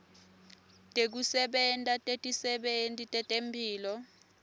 tekusebenta tetisebenti tetemphilo